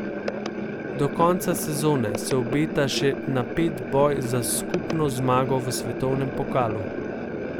Do konca sezone se obeta še napet boj za skupno zmago v svetovnem pokalu.